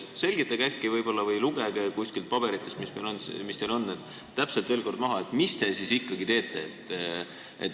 Selgitage või lugege kuskilt oma paberitest veel kord täpselt maha, mida te siis ikkagi teete.